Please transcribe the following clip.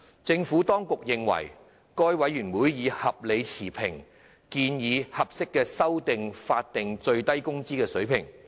政府當局認為，該委員會已合理持平地建議合適的法定最低工資水平修訂。